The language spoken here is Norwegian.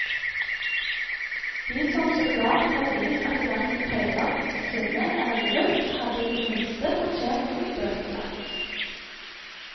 De som så klart har vist at de hverken tøyler sitt sinne eller gemytt, hadde i det minste fortjent å bli bøtelagt.